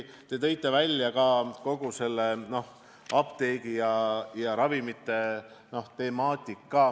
Te tõite välja apteegi- ja ravimitemaatika.